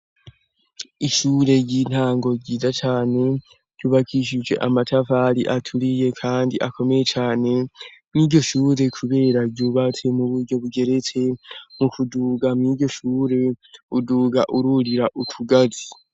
Ishure ry'intango ryiza cane ryubakishije amatafari aturiye kandi akomeye cane nkiryo shure kubera ryubatse mu buryo bugeretse mu kuduga mwiryo shure uduga ururira utugazi.